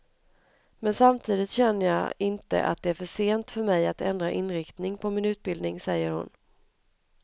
Men samtidigt känner jag inte att det är för sent för mig att ändra inriktning på min utbildning, säger hon.